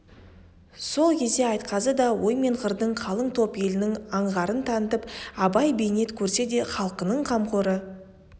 сол кезде айтқазы да ой мен қырдың қалың топ елінің аңғарын танытып абай бейнет көрсе де халқының қамқоры